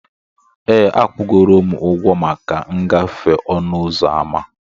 Ee, akwụgoro m ụgwọ maka ngafe ọnụ ụzọ ámá.